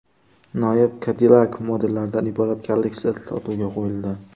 Noyob Cadillac modellaridan iborat kolleksiya sotuvga qo‘yildi.